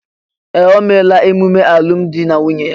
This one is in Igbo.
Ee! O meela ememe alụmdi na nwunye ya.